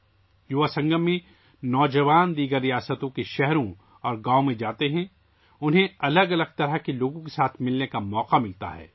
'یوواسنگم' میں نوجوان دوسری ریاستوں کے شہروں اور گاؤوں کا دورہ کرتے ہیں، انہیں مختلف قسم کے لوگوں سے ملنے کا موقع ملتا ہے